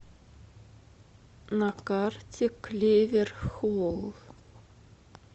на карте клевер холл